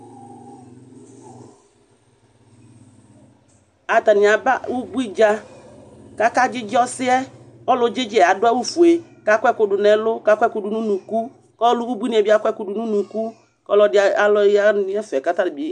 Atanɩ aba ubui dza kʋ akadzɩdzɩ ɔsɩ yɛ Ɔlʋ dzɩdzɩ yɛ adʋ awʋfue kʋ akɔ ɛkʋ dʋ nʋ ɛlʋ kʋ akɔ ɛkʋ dʋ nʋ unuku kʋ ɔlʋ ubuibuinɩ yɛ bɩ akɔ ɛkʋ dʋ nʋ unuku kʋ ɔlɔdɩ alɔ ya nʋ ɛfɛ kʋ atanɩ bɩ